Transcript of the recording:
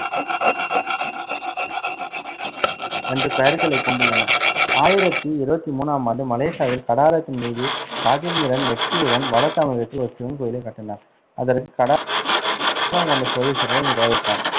என்று பெயர்களைக் கொண்டுள்ளன. ஆயிரத்தி இருவத்தி மூணாம் ஆண்டு மலேசியாவில் கடாரத்தின் மீது ராஜேந்திரன் வெற்றியுடன், வட தமிழகத்தில் ஒரு சிவன் கோயிலைக் கட்டினார், அதற்கு கொண்ட சோழேஸ்வரம் என்று பெயரிட்டார்.